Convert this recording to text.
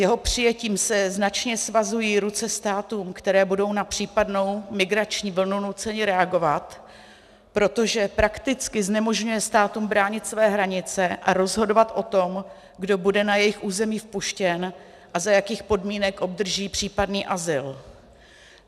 Jeho přijetím se značně svazují ruce státům, které budou na případnou migrační vlnu nuceny reagovat, protože prakticky znemožňuje státům bránit své hranice a rozhodovat o tom, kdo bude na jejich území vpuštěn a za jakých podmínek obdrží případný azyl.